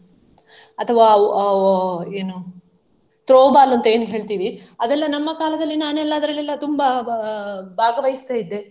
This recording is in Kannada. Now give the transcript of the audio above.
ಅಥವಾ ಅಹ್ ಅಹ್ ಏನು Throwball ಅಂತ ಏನ್ ಹೇಳ್ತಿವಿ ಅದೆಲ್ಲಾ ನಮ್ಮ ಕಾಲದಲ್ಲಿ ನಾನು ಅದ್ರಲ್ಲಿ ಎಲ್ಲಾ ತುಂಬಾ ಭಾ~ ಭಾಗವಹಿಸ್ತಾ ಇದ್ದೆ.